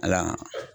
Ala